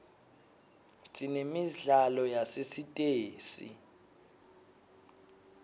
sinemidlalo yasesitesi